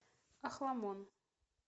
охламон